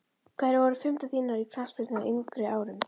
Hverjar voru fyrirmyndir þínar í knattspyrnu á yngri árum?